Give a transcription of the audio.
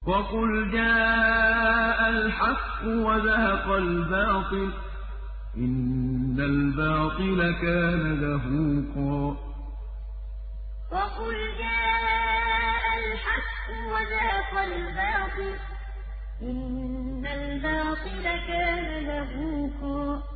وَقُلْ جَاءَ الْحَقُّ وَزَهَقَ الْبَاطِلُ ۚ إِنَّ الْبَاطِلَ كَانَ زَهُوقًا وَقُلْ جَاءَ الْحَقُّ وَزَهَقَ الْبَاطِلُ ۚ إِنَّ الْبَاطِلَ كَانَ زَهُوقًا